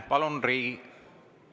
Palun Riigi …